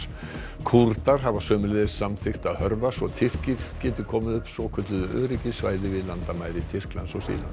Kúrdar hafa sömuleiðis samþykkt að hörfa svo Tyrkir geti komið upp svokölluðu öryggissvæði við landamæri Tyrklands